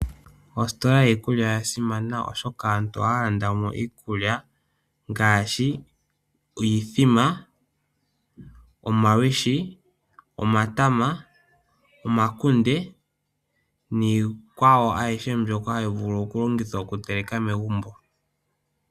Ositola yiikulya oya simana oshoka aantu ohaya landa mo iikulya ngaashi iithima, omalwishi, omatama, omakunde niikwawo ayihe mbyoka hayi vulu longithwa okuteleka megumbo.